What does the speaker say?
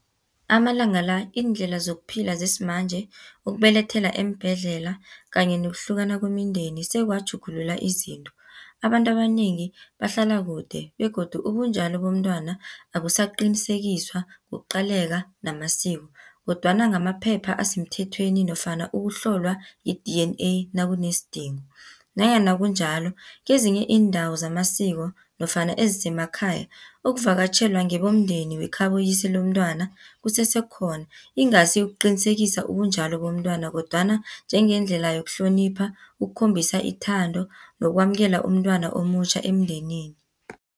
Amalanga la, iindlela zokuphila zesimanje, ukubelethela eembhedlela, kanye nokuhlukana kwemindeni, sekwatjhugulula izinto. Abantu abanengi bahlala kude, begodu ubunjalo bomntwana abusaqinisekiswa ngokuqaleka namasiko, kodwana ngamaphepha asemthethweni nofana ukuhlolwa yi-D_N_A nakunesidingo, nanyana kunjalo kezinye iindawo zamasiko, nofana ezisemakhaya, ukuvakatjhelwa ngebomndeni wekhaboyise lomntwana kusesekhona. Ingasi ukuqinisekisa ubunjalo bomntwana, kodwana njengendlela yokuhlonipha, ukukhombisa ithando, nokwamukela umntwana omutjha emndenini.